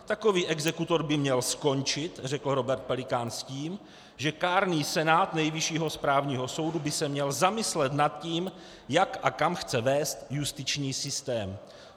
Takový exekutor by měl skončit, řekl Robert Pelikán, s tím, že kárný senát Nejvyššího správního soudu by se měl zamyslet nad tím, jak a kam chce vést justiční systém.